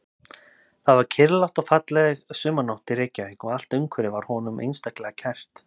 Það var kyrrlát og falleg sumarnótt í Reykjavík og allt umhverfið var honum einstaklega kært.